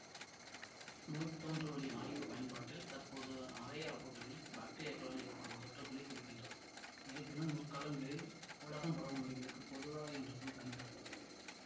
நோய் தோன்றுவழி ஆய்வு பயன்பாட்டில் தற்போது அரையாப்புகளில் பாக்டீரியாக்களால் ஏற்படும் தொற்றுக்களைக் குறிக்கின்றது இருப்பினும் முற்காலங்களில் உலகம்பரவுநோய்களுக்கு பொதுவாக என்ற சொல் பயன்படுத்தப்பட்டது